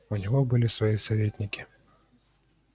у него были бы советники